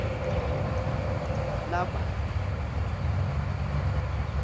lebanti b buphuya